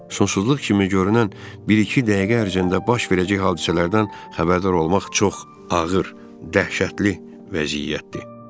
Sonsuzluq kimi görünən bir-iki dəqiqə ərzində baş verəcək hadisələrdən xəbərdar olmaq çox ağır, dəhşətli vəziyyətdir.